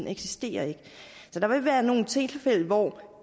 eksisterer så der vil være nogle tilfælde hvor